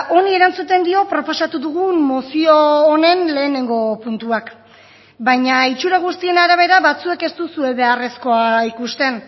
honi erantzuten dio proposatu dugun mozio honen lehenengo puntuak baina itxura guztien arabera batzuek ez duzue beharrezkoa ikusten